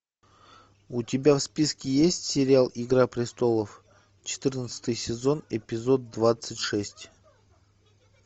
у тебя в списке есть сериал игра престолов четырнадцатый сезон эпизод двадцать шесть